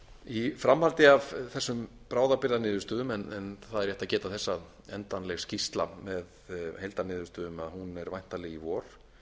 í framhaldi af þessum bráðabirgðaniðurstöðum en það er rétt að geta þess að endanleg skýrsla með heildarniðurstöðum er væntanleg í vor